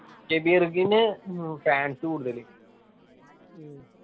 നു ഹും fans കൂടുതലു